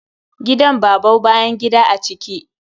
Gidan babau bayan gida a ciki.